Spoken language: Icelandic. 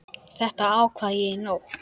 Þetta ákvað ég í nótt.